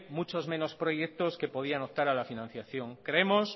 muchos menos proyectos que podían optar a la financiación creemos